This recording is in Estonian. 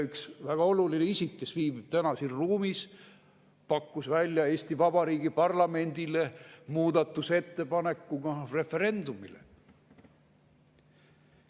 Üks väga oluline isik, kes viibib täna siin ruumis, pakkus selle välja Eesti Vabariigi parlamendile muudatusettepanekuna referendumile.